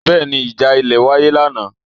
Bẹ́ẹ̀ni ìjà ilẹ̀ wáyé lánàá?